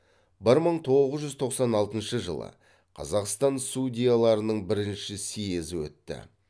бір мың тоғыз жүз тоқсан алтыншы жылы қазақстан судьяларының бірінші съезі өтті